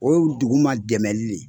O ye dugu ma dɛmɛli de ye.